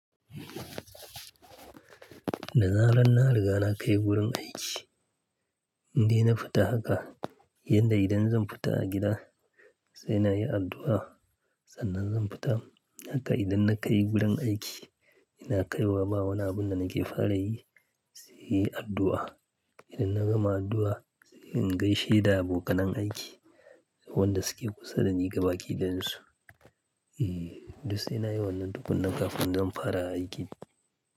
Da zarar na riga na kai wurin aiki, inda na fita haka, yanda idan zan fita a gida sai na yi addu'a sannan zan fita. Haka idan na kai wurin aiki, ina kaiwa ma wani abun da nake fara yi, sai yi addu'a. Idan na gama addu'a, in gaishe da abokanai aiki, wanda suke kusa da ni gabakidayan su. Eeh, duk sai na yi wannan tukuna kafin zan fara aiki.